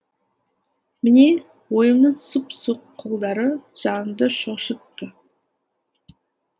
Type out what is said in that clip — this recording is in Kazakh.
міне ойымның сұп суық қолдары жанымды шошытты